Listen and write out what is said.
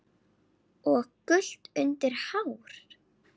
og gult undir hár.